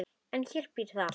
En í þér býr allt.